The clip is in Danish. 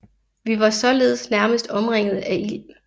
Vi var således nærmest omringet af ild